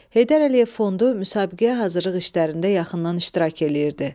Heydər Əliyev Fondu müsabiqəyə hazırlıq işlərində yaxından iştirak eləyirdi.